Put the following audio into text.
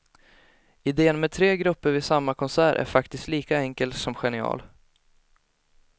Idén med tre grupper vid samma konsert är faktiskt lika enkel som genial.